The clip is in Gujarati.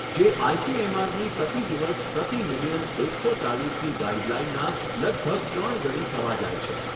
જે આઇસીએમઆરની પ્રતિ દિવસ પ્રતિ મિલિયન એકસો ચાલીસની ગાઇડલાઇનના લગભગ ત્રણ ઘણી થવા જાય છે.